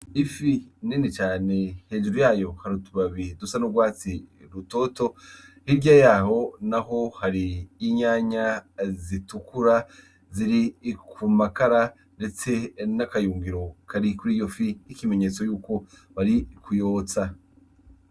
Ifi nene cane hejuru yayo hariutubabihi dusa n'urwatsi rutoto hirya yaho na ho hari inyanya zitukura ziri ikumakara, ndetse n'akayungiro kari kuri iyo fi 'ikimenyetso yuko bari kuyotsa.